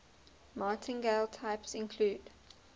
martingale types include